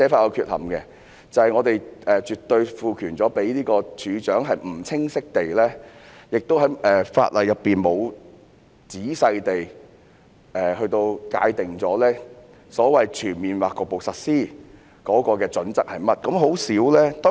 我們賦予處長絕對權力可不清晰地......法例亦沒有詳細地界定所謂"全面或局部實施"的準則，而很少......